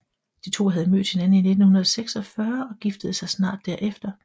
De to havde mødt hinanden i 1946 og giftede sig snart derefter